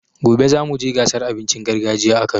Gobe zamu je gasar abincin gargajiya a Kano.